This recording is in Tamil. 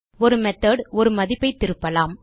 ஒரு மெத்தோட் ஒரு மதிப்பைத் திருப்பலாம்